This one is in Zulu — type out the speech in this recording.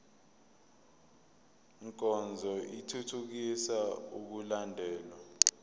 nkonzo ithuthukisa ukulandelwa